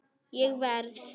Ég verð!